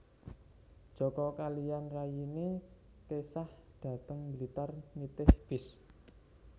Joko kaliyan rayine kesah dhateng Blitar nitih bis